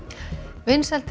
vinsældir